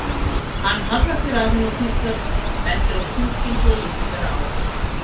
Hann hallar sér að henni og hvíslar, bendir á skúrkinn svo að lítið ber á.